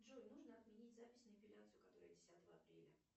джой нужно отменить запись на эпиляцию которая десятого апреля